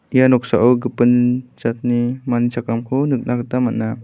ia noksao gipin jatni manichakramko nikna gita man·a.